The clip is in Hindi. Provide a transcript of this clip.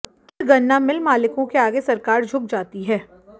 चंद गन्ना मिल मालिकों के आगे सरकार झुक जाती है